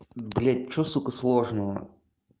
блядь что сука сложного